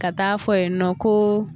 Ka t'a fɔ yen nɔ ko